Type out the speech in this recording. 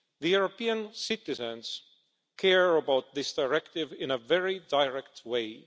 European citizens care about this directive in a very direct way.